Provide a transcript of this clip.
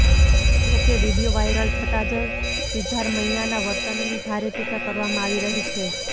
જો કે video viral થતા જ સિદ્ધારમૈયાના વર્તનની ભારે ટીકા કરવામાં આવી રહી છે